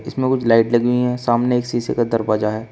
इसमें कुछ लाइट लगी हुई है सामने एक शीशे का दरवाजा है।